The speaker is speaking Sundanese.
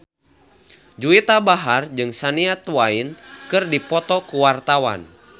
Juwita Bahar jeung Shania Twain keur dipoto ku wartawan